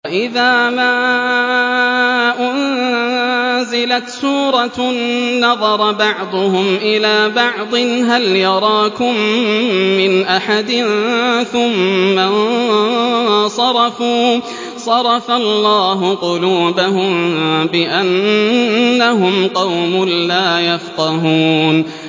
وَإِذَا مَا أُنزِلَتْ سُورَةٌ نَّظَرَ بَعْضُهُمْ إِلَىٰ بَعْضٍ هَلْ يَرَاكُم مِّنْ أَحَدٍ ثُمَّ انصَرَفُوا ۚ صَرَفَ اللَّهُ قُلُوبَهُم بِأَنَّهُمْ قَوْمٌ لَّا يَفْقَهُونَ